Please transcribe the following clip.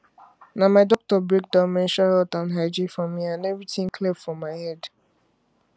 na my doctor break down menstrual health and hygiene for me and everything clear for my head